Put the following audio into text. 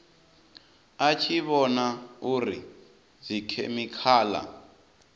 a tshi vhona uri dzikhemikhala